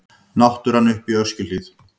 Náttúran uppi í Öskjuhlíð.